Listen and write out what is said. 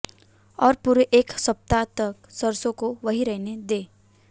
और पूरे एक सप्ताह तक सरसों को वहीं रहने दें